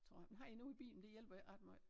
Tror jeg men har en ude i bilen det hjælper ikke ret måj